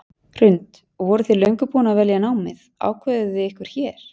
Hrund: Voruð þið löngu búin að velja námið, ákváðuð þið ykkur hér?